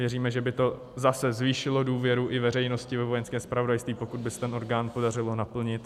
Věříme, že by to zase zvýšilo důvěru i veřejnosti ve Vojenské zpravodajství, pokud by se ten orgán podařilo naplnit.